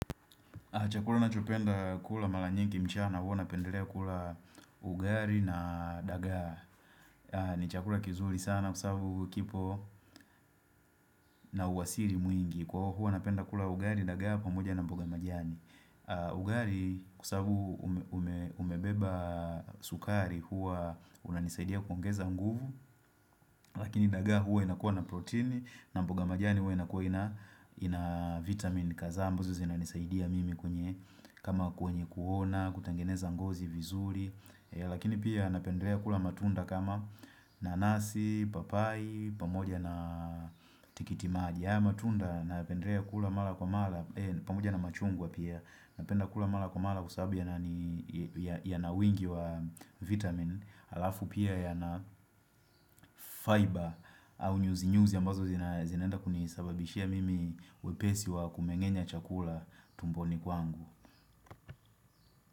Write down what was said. Chakula nachopenda kula mara nyingi mchana huwa napendelea kula ugali na dagaa ni chakula kizuri sana kwasababu kipo na uhasili mwingi Kwa huwa napenda kula ugali dagaa pamoja na mboga majani Ugari kwasababu umebeba sukari huwa unanisaidia kuongeza nguvu Lakini dagaa huwa inakuwa na protini na mboga majani huwa inakuwa ina vitamin kadhaa ambazo zinanisaidia mimi kwenye kama kwenye kuona, kutengeneza ngozi vizuri lakini pia napendelea kula matunda kama nanasi, papayi pamoja na tikitimaji haya matunda napendelea kula mara kwa mara, pamoja na machungwa pia napenda kula mara kwa mara kwasababu yana wingi wa vitamin alafu pia yana fiber au nyuzinyuzi ambazo zinaenda kunisababishia mimi wepesi wa kumeng'enya chakula tumboni kwangu.